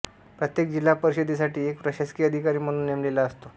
प्रत्येक जिल्हा परिषदेसाठी एक प्रशासकीय अधिकारी म्हणून नेमलेला असतो